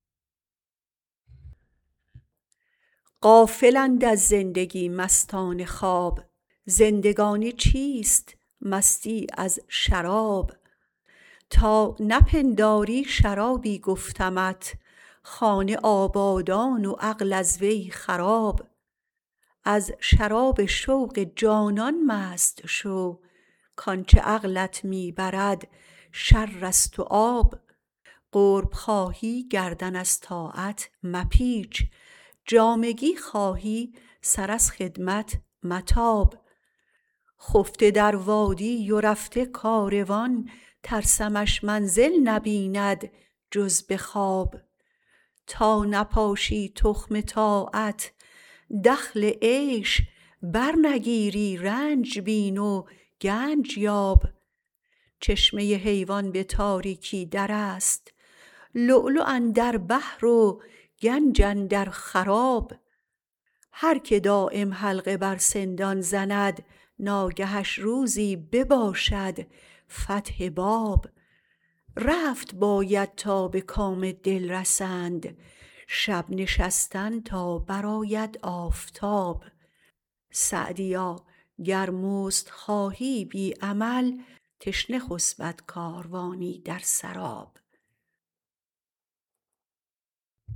غافلند از زندگی مستان خواب زندگانی چیست مستی از شراب تا نپنداری شرابی گفتمت خانه آبادان و عقل از وی خراب از شراب شوق جانان مست شو کآنچه عقلت می برد شر است و آب قرب خواهی گردن از طاعت مپیچ جامگی خواهی سر از خدمت متاب خفته در وادی و رفته کاروان ترسمش منزل نبیند جز به خواب تا نپاشی تخم طاعت دخل عیش برنگیری رنج بین و گنج یاب چشمه حیوان به تاریکی در است لؤلؤ اندر بحر و گنج اندر خراب هر که دایم حلقه بر سندان زند ناگهش روزی بباشد فتح باب رفت باید تا به کام دل رسند شب نشستن تا برآید آفتاب سعدیا گر مزد خواهی بی عمل تشنه خسبد کاروانی در سراب